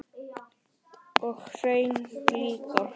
Og hreint líka!